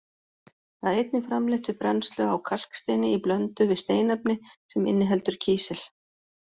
Það er einnig framleitt við brennslu á kalksteini í blöndu við steinefni sem inniheldur kísil.